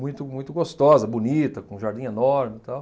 muito muito gostosa, bonita, com jardim enorme, tal.